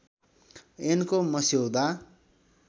ऐनको मस्यौदा